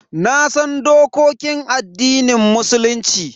Nasan dokokin addinin Musulunci.